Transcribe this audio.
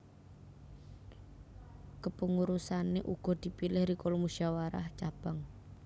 Kepengurusane uga dipilih rikala musyawarah cabang